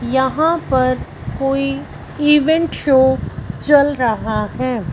यहां पर कोई इवेंट शो चल रहा है।